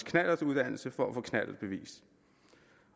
knallertuddannelse for at få knallertbevis